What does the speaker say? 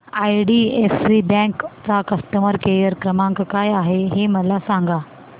IDFC bank चा customer care क्रमांक काय आहे हे मला सांगा